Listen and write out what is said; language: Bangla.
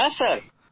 হ্যাঁ স্যার